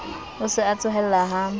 o se a tsohella ha